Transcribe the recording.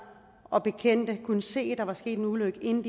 og hendes bekendte kunne se at der var sket en ulykke inden